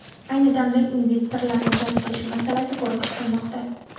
Ayni damda investorlarni jalb qilish masalasi ko‘rib chiqilmoqda.